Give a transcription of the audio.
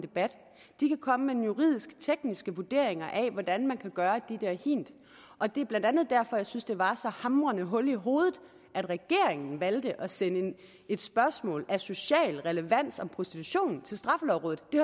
debat de kan komme med juridisk tekniske vurderinger af hvordan man kan gøre dette og hint og det er blandt andet derfor jeg synes det var så hamrende hul i hovedet at regeringen valgte at sende et spørgsmål af social relevans om prostitution til straffelovrådet det